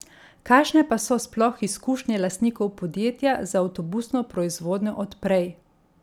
Kakšne pa so sploh izkušnje lastnikov podjetja z avtobusno proizvodnjo od prej?